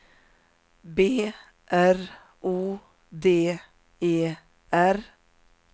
B R O D E R